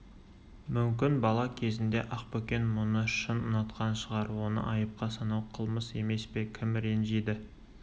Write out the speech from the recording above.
мүмкін бала кезінде ақбөкен мұны шын ұнатқан шығар оны айыпқа санау қылмыс емес пе кім ренжиді